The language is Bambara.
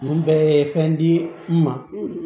Ninnu bɛɛ ye fɛn di n ma